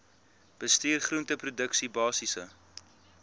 bestuur groenteproduksie basiese